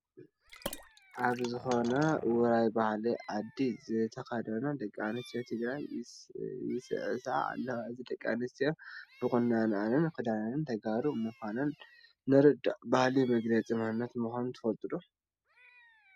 ኣብ ዝኾነ ውራይ ባህሊ ዓዲ ዝተኸና ደቂ ኣንስትዮ ትግራይ ይስዕስዓ ዓለዋ፡፡ እዘን ደቂ ኣንስትዮ ብቑነአንን ክዳነንን ተጋሩ ምዃነን ንርዳእ፡፡ ባህሊ መግለፂ መንነት ምዃኑ ትፈልጡ ዶ?